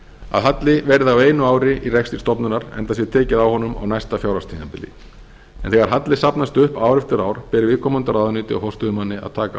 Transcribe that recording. að halli verði á einu ári í rekstri stofnunar enda sé tekið á honum á næsta fjárhagstímabili en þegar halli safnast upp ár eftir ár ber viðkomandi ráðuneyti og forstöðumanni að taka